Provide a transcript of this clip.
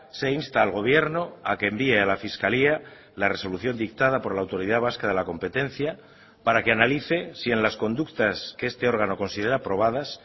se insta al gobierno a que envíe a la fiscalía la resolución dictada por la autoridad vasca de la competencia para que analice si en las conductas que este órgano considera probadas